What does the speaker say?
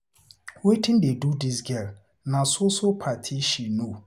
Wetin dey do dis girl, na so so party she know.